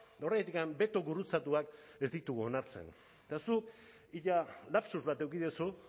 eta horregatik beto gurutzatuak ez ditugu onartzen eta zuk ia lapsus bat eduki duzu